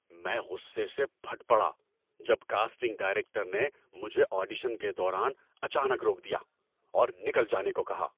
میں غصے سے پھٹ پڑا جب کاسٹنگ ڈائریکٹر نے مجھے آڈیشن کے دوران اچانک روک دیا اور نکل جانے کو کہا۔